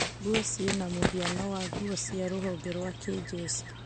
Nguo cĩĩna mũhiano wa nguo cia rũhonge rwa kĩnjeshi